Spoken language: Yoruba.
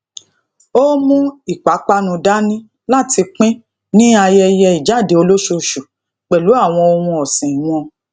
ó mú ìpápánu dání láti pín ní ayeye ijade olosoosu pẹlu awon ohun ọsin won